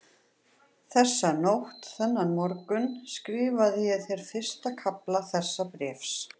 Þessa nótt, þennan morgun, skrifaði ég þér fyrsta kafla þessa bréfs.